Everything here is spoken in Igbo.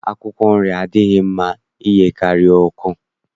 Akwụkwọ nri adịghị mma iyekarị oke